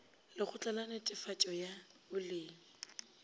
lekgotla la netefatšo ya boleng